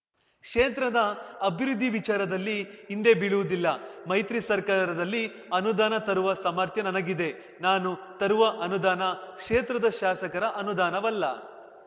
ಕ್ಷೇತ್ರದ ಅಭಿವೃದ್ಧಿ ವಿಚಾರದಲ್ಲಿ ಹಿಂದೆ ಬೀಳುವುದಿಲ್ಲ ಮೈತ್ರಿ ಸರ್ಕಾರದಲ್ಲಿ ಅನುದಾನ ತರುವ ಸಾಮರ್ಥ್ಯ ನನಗಿದೆ ನಾನು ತರುವ ಅನುದಾನ ಕ್ಷೇತ್ರದ ಶಾಸಕರ ಅನುದಾನವಲ್ಲ